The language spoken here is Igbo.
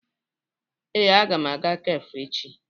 Ee, aga m aga kafe echi.